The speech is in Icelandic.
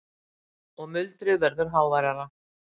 Og muldrið verður háværara.